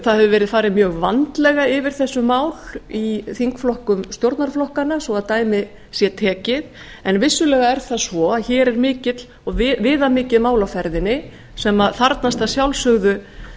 það hefur verið farið mjög vandlega yfir þessi mál í þingflokkum stjórnarflokkanna svo dæmi sé tekið en vissulega er það svo að hér er viðamikið mál á ferðinni sem þarfnast að sjálfsögðu